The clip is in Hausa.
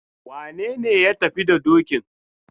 Wane ne ya tafi da dokin?